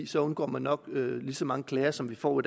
så undgår man nok lige så mange klager som vi får